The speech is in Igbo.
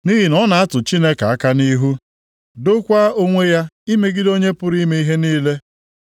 Nʼihi na ọ na-atụ Chineke aka nʼihu, dokwaa onwe ya imegide Onye pụrụ ime ihe niile.